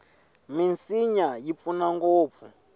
minsinya yi pfuna ngopfu